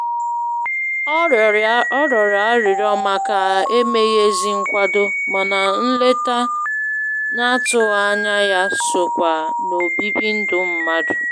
Ọ rịọrọ arịrịọ màkà emeghị ezi nkwado, mana nleta n'atụghị ányá ya sokwa n'obibi ndụ mmadụ.